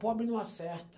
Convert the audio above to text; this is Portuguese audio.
Pobre não acerta.